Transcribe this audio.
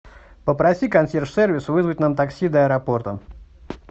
попроси консьерж сервис вызвать нам такси до аэропорта